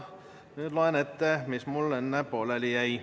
Nüüd loen ette, mis mul enne pooleli jäi.